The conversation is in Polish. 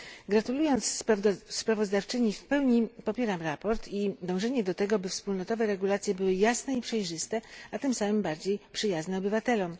Gratulując sprawozdawczyni, w pełni popieram sprawozdanie i dążenie do tego, aby wspólnotowe regulacje były jasne i przejrzyste, a tym samym bardziej przyjazne obywatelom.